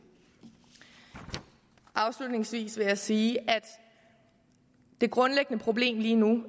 afslutningsvis vil jeg sige at det grundlæggende problem lige nu jo